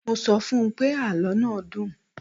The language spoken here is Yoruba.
Mo sọ fún pé, àlọ́ náà dùn.